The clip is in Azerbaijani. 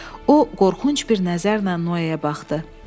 O qorxunc bir nəzərlə Noeyə baxdı.